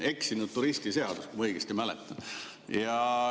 Eksinud turisti seadus, kui ma õigesti mäletan.